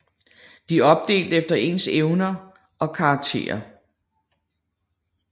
De er opdelt efter ens evner og karakterer